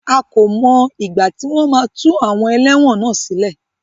A kò mọ ìgbà tí wọ́n máa tú àwọn ẹlẹ́wọ̀n náà sílẹ̀.